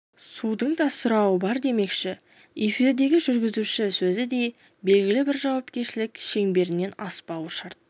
судың да сұрауы бар демекші эфирдегі жүргізуші сөзі де белгілі бір жауапкершілік шеңберінен аспауы шарт